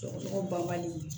Sɔgɔsɔgɔ banbali